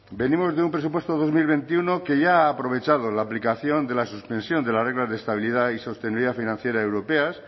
venimos de un presupuesto dos mil veintiuno que ya ha aprovechado la aplicación de la suspensión de las reglas de estabilidad y sostenibilidad financiera europeas